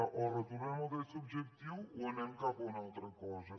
o retornem el dret subjectiu o anem cap a una altra cosa